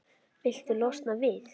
Viltu losna við-?